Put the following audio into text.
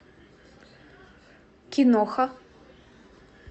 киноха